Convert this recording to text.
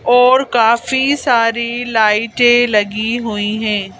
और काफी सारी लाइटें लगी हुई हैं।